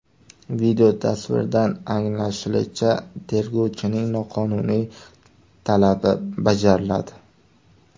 Videotasvirdan anglashilishicha, tergovchining noqonuniy talabi bajariladi.